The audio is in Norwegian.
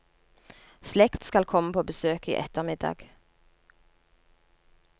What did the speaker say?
Slekt skal komme på besøk i ettermiddag.